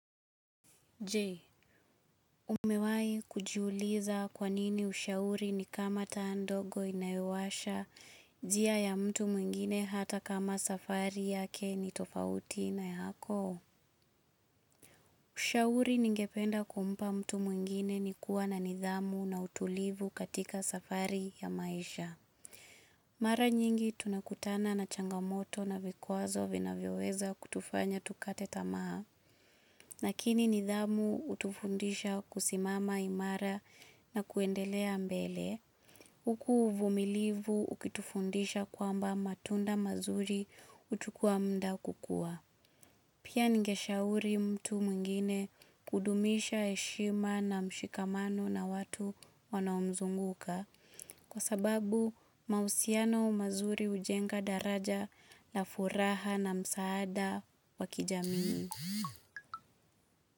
Je. Umewahi kujiuliza kwa nini ushauri ni kama taa ndogo inayowasha njia ya mtu mwingine hata kama safari yake ni tofauti na yako? Ushauri ningependa kumpa mtu mwingine ni kuwa na nidhamu na utulivu katika safari ya maisha. Mara nyingi tunakutana na changamoto na vikwazo vinavyoweza kutufanya tukate tamaa. Lakini nidhamu hutufundisha kusimama imara na kuendelea mbele. Huku uvumilivu ukitufundisha kwamba matunda mazuri huchukua mda kukuwa. Pia ningeshauri mtu mwingine kudumisha heshima na mshikamano na watu wanaomzunguka. Kwa sababu mahusiano mazuri hujenga daraja la furaha na msaada wa kijamii.